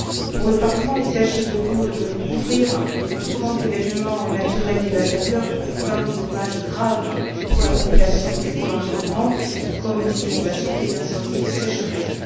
Pour le Parlement, il s'agit de couvrir tout grand événement naturel dévastateur provoquant des dommages graves pour la population et pour l'environnement, comme des inondations, des incendies et des sécheresses.